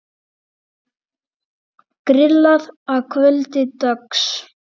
Grillað að kvöldi dags.